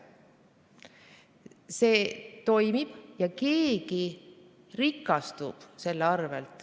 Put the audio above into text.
See toimib ja keegi rikastub selle arvel.